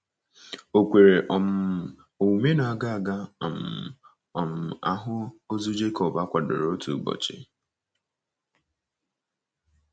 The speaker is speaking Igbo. Ò kwere um omume na a ga ga um - um ahụ ozu Jekọb akwadoro otu ụbọchị?